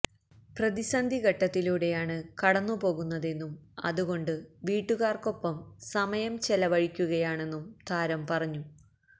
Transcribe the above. പ്രതിസന്ധി ഘട്ടത്തിലൂടെയാണ് കടന്നുപോകുന്നതെന്നും അതുകൊണ്ട് വീട്ടുകാർക്കൊപ്പം സമയം ചെലവഴിക്കുകയാണെന്നും താരം പറഞ്ഞു